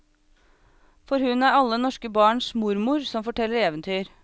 For hun er alle norske barns mormor som forteller eventyr.